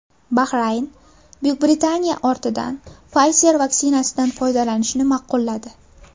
Bahrayn Buyuk Britaniya ortidan Pfizer vaksinasidan foydalanishni ma’qulladi.